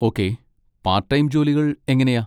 Okay, part time ജോലികൾ എങ്ങനെയാ?